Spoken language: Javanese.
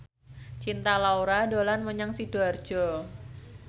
Cinta Laura dolan menyang Sidoarjo